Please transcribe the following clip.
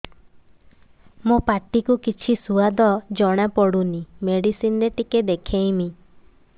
ମୋ ପାଟି କୁ କିଛି ସୁଆଦ ଜଣାପଡ଼ୁନି ମେଡିସିନ ରେ ଟିକେ ଦେଖେଇମି